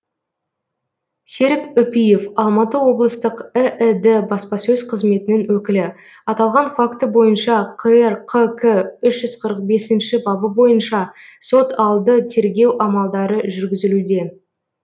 серік үпиев алматы облыстық іід баспасөз қызметінің өкілі аталған факті бойынша қр қк үш жүз қырық бесінші бабы бойынша сот алды тергеу амалдары жүргізілуде